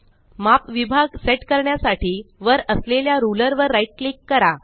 माप विभाग सेट करण्यासाठी वर असलेल्या रुलर वर राईट क्लिक करा